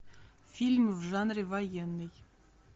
фильм в жанре военный